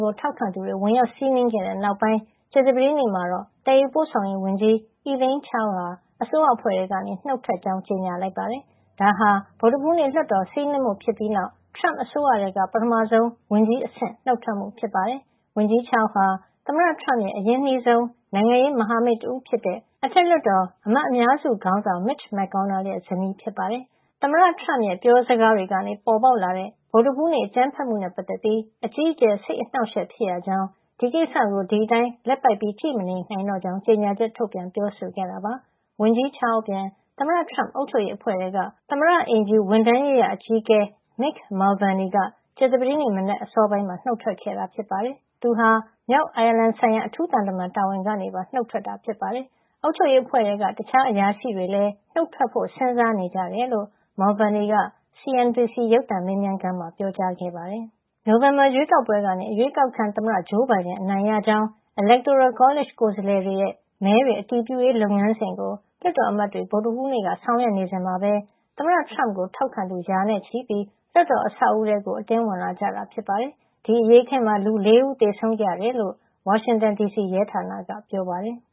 ကို ထောက်ခံသူတွေ ဝင်ရောက်စီးနင်းခဲ့တဲ့ နောက်ပိုင်း ကြာသပတေးနေ့မှာတော့ သယ်ယူပို့ဆောင်ရေးဝန်ကြီး Elaine Chao ဟာ အစိုးရအဖွဲ့ ထဲကနေ နုတ်ထွက်ကြောင်း ကြေညာလိုက်ပါတယ်။ ဒါဟာ ဗုဒ္ဓဟူးနေ့ လွှတ်တော်စီးနင်းမှုဖြစ်ပြီးနောက် Trump အစိုးရထဲက ပထမဦးဆုံး ဝန်ကြီးအဆင့်နုတ်ထွက်မှု ဖြစ်ပါတယ်။ ဝန်ကြီး Chao ဟာ သမ္မတထရမ့်ရဲ့ အရင်းနှီးဆုံး နိုင်ငံရေးမဟာမိတ်တဦး ဖြစ်တဲ့ အထက်လွှတ်တော် အမတ်အများစုခေါင်းဆောင် Mitch McConnell ရဲ့ ဇနီး ဖြစ်ပါတယ်။ သမ္မတထရမ့်ရဲ့ ပြောစကားတွေကနေ ပေါ်ပေါက်လာတဲ့ ဗုဒ္ဓဟူးနေ့ အကြမ်းဖက်မှုနဲ့ပတ်သက်ပြီး အကြီးအကျယ် စိတ်အနှောက်အယှက် ဖြစ်ရကြောင်း ဒီကိစ္စကို ဒီအတိုင်း လက်ပိုက် ကြည့်မနေနိုင်တော့ကြောင်း ကြေညာချက် ထုတ်ပြန်ပြောဆိုခဲ့တာပါ။ ဝန်ကြီး Chao အပြင် သမ္မတထရမ့် အုပ်ချုပ်ရေး အဖွဲ့ထဲက သမ္မတအိမ်ဖြူ ဝန်ထမ်းရေးရာ အကြီးအကဲ Mick Mulvaney က ကြာသပတေးနေ့မနက် အစောပိုင်းမှာ နုတ်ထွက်ခဲ့တာပါ။ သူက မြောက်အိုင်ယာလန် ဆိုင်ရာ အထူးသံတမန်တာဝန်ကနေပါ နုတ်ထွက်ခဲ့တာ ဖြစ်ပါတယ်။ အုပ်ချုပ်ရေး အဖွဲ့ထဲက တခြား အရာရှိတွေလည်း နုတ်ထွက်ဖို့ စဉ်းစားနေကြတယ်လို့ Mulvaney က CNBC ရုပ်သံ မေးမြန်းခန်းမှာ ပြောကြားခဲ့ပါတယ်။ နိုဝင်ဘာရွေးကောက်ပွဲကနေ အရွေးကောက်ခံ သမ္မတဂျိုးဘိုင်ဒန် အနိုင်ရကြောင်း Electoral College ကိုယ်စားလှယ်တွေ ရဲ့ မဲတွေ အတည်ပြုရေးလုပ်ငန်းစဉ်ကို လွှတ်တော်အမတ်တွေ ဗုဒ္ဓဟူးနေ့က ဆောင်ရွက်နေစဉ်မှာပဲ သမ္မတထရမ့်ကို ထောက်ခံသူ ရာနဲ့ချီပြီး လွှတ်တော်အဆောက်အဦးထဲ အတင်းဝင်လာကြတာ ဖြစ်ပါတယ်။ ဒီအရေးအခင်းမှာ လူ ၄ ဦး သေဆုံးခဲ့ရတယ်လို့ ဝါရှင်တန်ဒီစီ ရဲဌာနက ပြောပါတယ်။